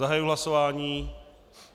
Zahajuji hlasování.